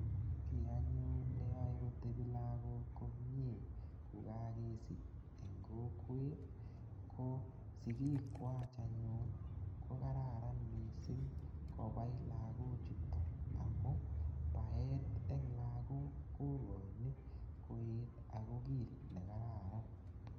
Ki anyun ne yae kotepi lagok komye ko kakesich eng' kokwet ko sikikwach anyun ko kararan missing' kopai lagochutok amu paet eng' lagok kokachin koet ako ker ile kararan.